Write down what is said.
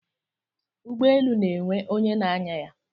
Ụgbọelu na-enwe onye na-anya ya.